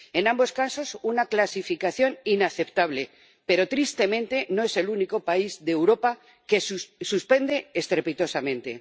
En ambos casos, una clasificación inaceptable, pero tristemente no es el único país de Europa que suspende estrepitosamente.